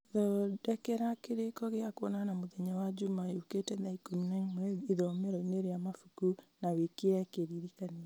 thondekera kĩrĩko gĩa kwonana mũthenya wa njuma yũkĩte thaa ikũmi na ĩmwe ithomero-inĩ rĩa mabuku na wĩkĩre kĩririkania